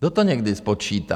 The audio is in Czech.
Kdo to někdy spočítá?